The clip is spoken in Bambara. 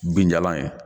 Binjalan ye